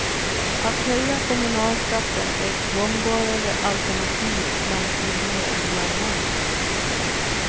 Att höja kommunalskatten är ett gångbarare alternativ bland kvinnor än bland män.